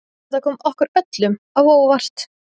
Þetta kom okkur öllum á óvart